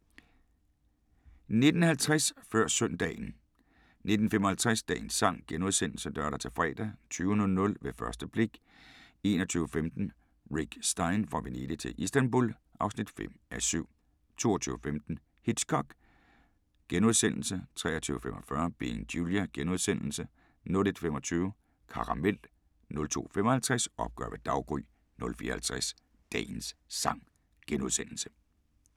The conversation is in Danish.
19:50: Før Søndagen 19:55: Dagens sang *(lør-fre) 20:00: Ved første blik 21:15: Rick Stein: Fra Venedig til Istanbul (5:7) 22:15: Hitchcock * 23:45: Being Julia * 01:25: Karamel 02:55: Opgør ved daggry 04:50: Dagens sang *